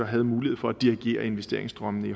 havde mulighed for at dirigere investeringsstrømmene i